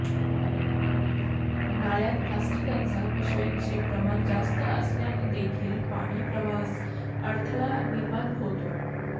नाल्यांत प्लास्टिकच्या पिशव्यांचे प्रमाण जास्त असल्यानेदेखील पाणी प्रवाहास अडथळा निर्माण होतो